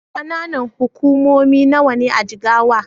Ƙananan hukumomi nawa ne a Jigawa?